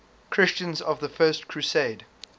christians of the first crusade